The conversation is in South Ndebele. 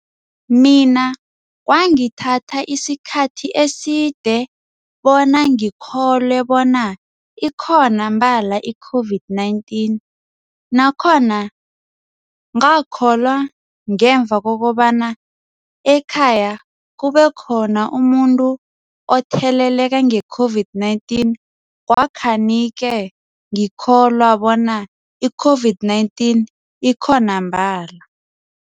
Mina kwangithatha isikhathi eside bona ngikholwe bona ikhona mbala i-COVID-19. Nakhona ngakholwa ngemva kokobana ekhaya kube khona umuntu otheleleka nge-COVID-19 kwakhani-ke ngikholwa bona i-COVID-19 ikhona mbala.